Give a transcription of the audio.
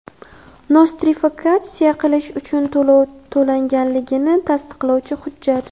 Nostrifikatsiya qilish uchun to‘lov to‘langanligini tasdiqlovchi hujjat;.